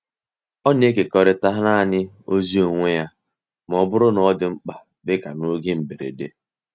Ó na-ekekọrịta naanị ozi onwe ya ma ọ bụrụ na ọ dị mkpa, dịka n’oge mberede.